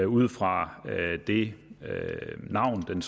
ud fra det navn den